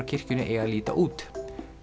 kirkjunni eiga að líta út